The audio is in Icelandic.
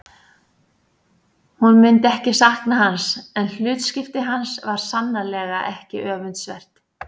Hún myndi ekki sakna hans en hlutskipti hans var sannarlega ekki öfundsvert.